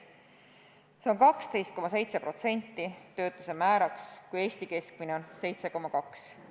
Sealne töötuse määr on 12,7%, seevastu Eesti keskmine on 7,2%.